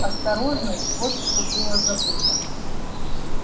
осторожность вот что было забыто